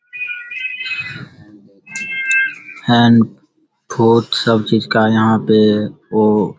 सब चीज का यहाँ पे वो --